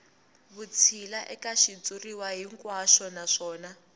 vutshila eka xitshuriwa hinkwaxo naswona